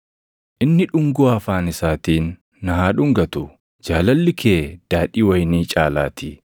Inni dhungoo afaan isaatiin na haa dhungatu; jaalalli kee daadhii wayinii caalaatii.